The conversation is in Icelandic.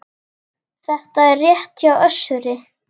Þetta er rétt hjá Össuri.